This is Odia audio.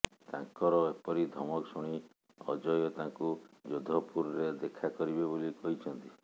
ତାଙ୍କର ଏପରି ଧମକ ଶୁଣି ଅଜୟ ତାଙ୍କୁ ଯୋଧପୁରରେ ଦେଖା କରିବେ ବୋଲି କହିଛନ୍ତି